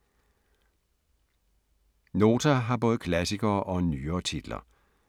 Nota har både klassikere og nyere titler